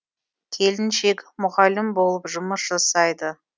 келіншек мұғалім болып жұмыс жасайды